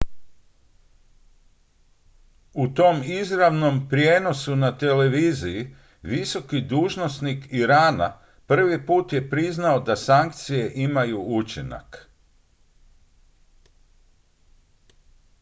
u tom izravnom prijenosu na televiziji visoki dužnosnik irana prvi put je priznao da sankcije imaju učinak